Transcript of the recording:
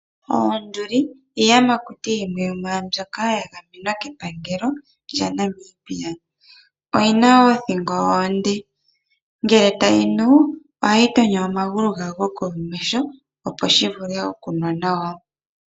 Oonduli iiyamakuti yimwe yomwaambyoka ya gamenwa kepangelo lyaNamibia. Oyi na oothingo oonde, ngele tayi nu ohayi tonyo omagulu gawo gokomesho opo shi vule okunwa nawa.